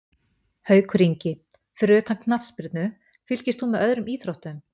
Haukur Ingi Fyrir utan knattspyrnu, fylgist þú með öðrum íþróttum?